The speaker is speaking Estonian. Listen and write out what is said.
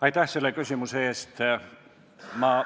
Aitäh selle küsimuse eest!